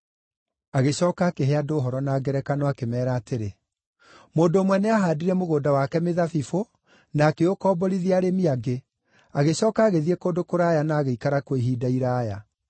Agĩcooka akĩhe andũ ũhoro na ngerekano akĩmeera atĩrĩ, “Mũndũ ũmwe nĩahaandire mũgũnda wake mĩthabibũ, na akĩũkomborithia arĩmi angĩ, agĩcooka agĩthiĩ kũndũ kũraya na agĩikara kuo ihinda iraaya.